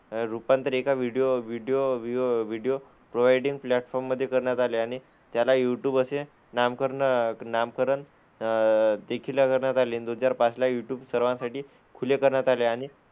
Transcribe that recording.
रूपांतर एका video video video video providing platform मध्ये करण्यात आले आणि त्याला युट्युब असे नामकरण नामकरण अह देखील करण्यात आले. दोन हजार पाचला युट्युब सर्वांसाठी खुले करण्यात आले आणि,